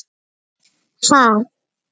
Sölvi: Ha?